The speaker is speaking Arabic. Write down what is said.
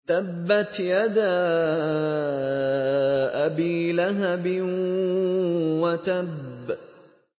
تَبَّتْ يَدَا أَبِي لَهَبٍ وَتَبَّ